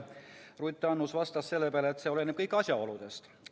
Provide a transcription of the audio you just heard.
Ruth Annus vastas selle peale, et kõik oleneb asjaoludest.